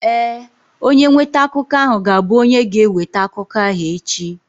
Ee, onye nweta akụkọ ahụ ga-abụ onye ga-eweta akụkọ ahụ echi.